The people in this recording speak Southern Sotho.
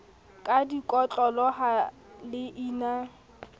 ka dikotlolo ha le ina